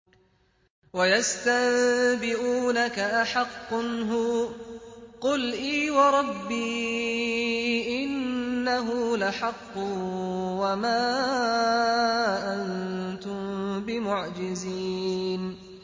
۞ وَيَسْتَنبِئُونَكَ أَحَقٌّ هُوَ ۖ قُلْ إِي وَرَبِّي إِنَّهُ لَحَقٌّ ۖ وَمَا أَنتُم بِمُعْجِزِينَ